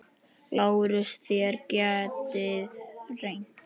LÁRUS: Þér getið reynt.